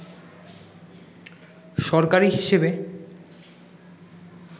সরকারি হিসেবে